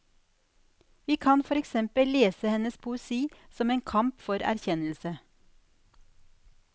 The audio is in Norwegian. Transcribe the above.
Vi kan for eksempel lese hennes poesi som en kamp for erkjennelse.